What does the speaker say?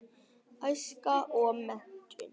Æska og menntun